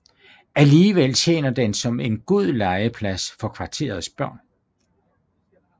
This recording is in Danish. Alligevel tjener den som en god legeplads for kvarterets børn